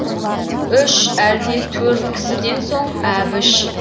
үш әлде төрт кісіден соң әбіш